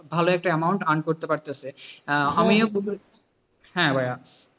ভালো একটা amount earn করতে পারতাছে, আমিও, হ্যাঁ ভাইয়া,